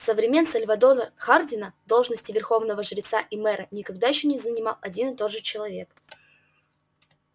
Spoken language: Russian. со времён сальвора хардина должности верховного жреца и мэра никогда ещё не занимал один и тот же человек